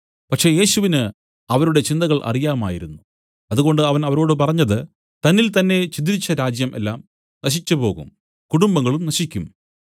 പക്ഷേ യേശുവിന് അവരുടെ ചിന്തകൾ അറിയാമായിരുന്നു അതുകൊണ്ട് അവൻ അവരോട് പറഞ്ഞത് തന്നിൽതന്നേ ഛിദ്രിച്ച രാജ്യം എല്ലാം നശിച്ചുപോകും കുടുംബങ്ങളും നശിക്കും